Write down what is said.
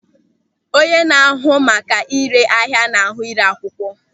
Onye na-ahụ maka ị́ré ahịa na-ahụ ị́ré akwụkwọ.